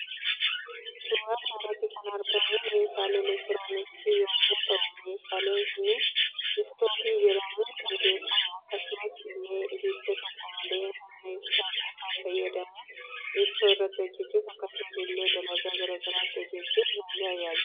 Suuraa kanarratti kan argamu meeshaa elektirooniksii yommuu ta'u meeshaan Kun istoofii jedhamuun kan beekamu akkasumas ille abidda tokko malee humna ibsaa qofa fayyadamuudhan ittoo irratti hojjechuuf akkasumas illee dalagaa gara garaa itti hojjetachuuf nu tajaajila.